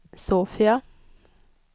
Sofia